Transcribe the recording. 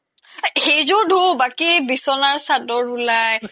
সেইযোৰ ধু বাকি বিচ্না সাদৰ উলাই